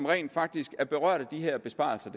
rent faktisk er berørt af de her besparelser